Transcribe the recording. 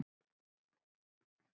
Betri en Skúli Jón?